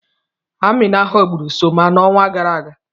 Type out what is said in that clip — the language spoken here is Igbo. Amina ghọgburu Soma n'ọnwa gara aga.